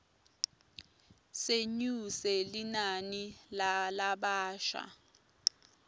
senyuse linani lalabasha